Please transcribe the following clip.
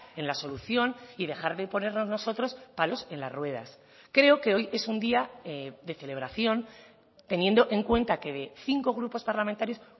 en la solución y dejar de ponernos nosotros palos en las ruedas creo que hoy es un día de celebración teniendo en cuenta que de cinco grupos parlamentarios